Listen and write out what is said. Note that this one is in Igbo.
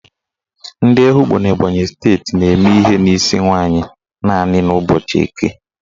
Ndị Ehugbo n'Ebonyi steeti na-eme ihe n'isi nwaanyị naanị n' ụbọchị Eke